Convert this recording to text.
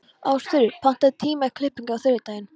Ástfríður, pantaðu tíma í klippingu á þriðjudaginn.